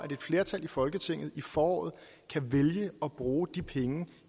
et flertal i folketinget i foråret kan vælge at bruge de penge